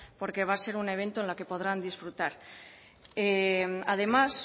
porque va a ser un evento en el que podrán disfrutar además